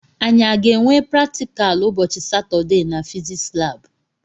Anyi a ga-enwe praktikal ụbọchị Satọdee na fiziks labụ?